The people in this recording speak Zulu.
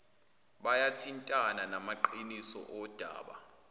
buyathintana namaqiniso odaba